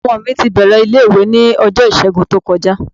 Ọmọ mi ti bẹ̀rẹ̀ ilé-ìwé ní ọjọ́ Ìṣẹ́gun tó kọjá.